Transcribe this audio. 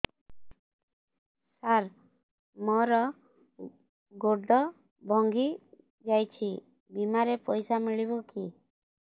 ସାର ମର ଗୋଡ ଭଙ୍ଗି ଯାଇ ଛି ବିମାରେ ପଇସା ମିଳିବ କି